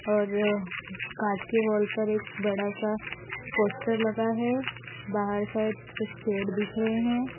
और कांच के वॉल पर एक बड़ा सा पोस्टर लगा है बाहर साइड कुछ पेड़ दिख रहे हैं।